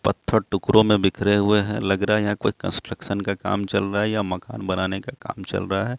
पत्थर टुकड़ों में बिखरे हुए हैं लग रहा है यहाँ कोई कंस्ट्रक्शन का काम चल रहा है या मकान बनाने का काम चल रहा है।